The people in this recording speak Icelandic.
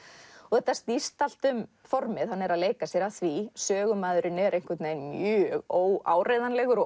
þetta snýst allt um formið hann er að leika sér að því sögumaðurinn er mjög óáreiðanlegur og